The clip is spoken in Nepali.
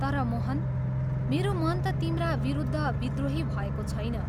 तर मोहन, मेरो मन ता तिम्रा विरुद्ध विद्रोही भएको छैन।